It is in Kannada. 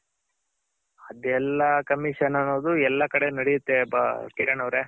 ಅದೆಲ್ಲ Commission ಅನ್ನೋದು ಎಲ್ಲ ಕಡೆ ನಡೆಯುತ್ತೆ ಕಿರಣ್ ಅವ್ರೆ.